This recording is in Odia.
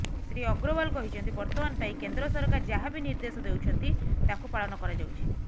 ଶ୍ରୀ ଅଗ୍ରଓ୍ବାଲ କହିଛନ୍ତି ବର୍ତମାନ ପାଇଁ କେନ୍ଦ୍ର ସରକାର ଯାହା ବି ନିର୍ଦେଶ ଦେଉଛନ୍ତି ତାକୁ ପାଳନ କରାଯାଉଛି